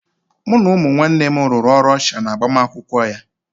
Mụ na ụmụ nwanne m rụrụ ọrụ ọsha n'agbamakwụkwọ ya